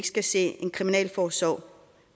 skal se en kriminalforsorg